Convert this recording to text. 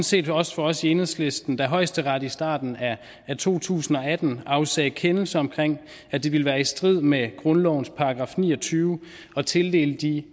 set også for os i enhedslisten da højesteret i starten af to tusind og atten afsagde kendelse om at det ville være i strid med grundlovens § ni og tyve at tildele de